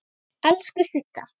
Elsku Sigga.